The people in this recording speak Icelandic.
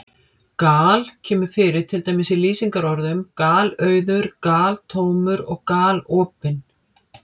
Gal- kemur fyrir til dæmis í lýsingarorðunum galauður, galtómur og galopinn.